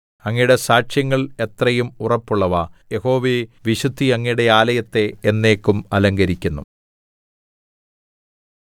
അങ്ങയുടെ സാക്ഷ്യങ്ങൾ എത്രയും ഉറപ്പുള്ളവ യഹോവേ വിശുദ്ധി അങ്ങയുടെ ആലയത്തെ എന്നേക്കും അലങ്കരിക്കുന്നു